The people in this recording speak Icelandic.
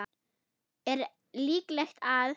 Er líklegt að